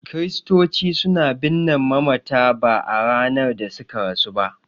Kiristoci suna binne mamata ba a ranar da suka rasu ba.